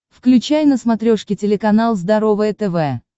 включай на смотрешке телеканал здоровое тв